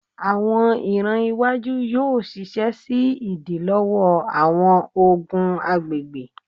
Awọn iran iwaju yoo ṣiṣẹ si idilọwọ awọn ogun agbegbe